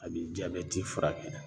A bi jabɛti furakɛ.